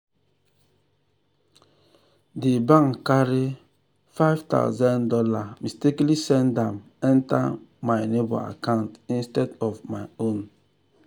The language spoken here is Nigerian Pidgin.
the bank carry five thousand dollars mistakenly send am enter my neighbor account instead of my own.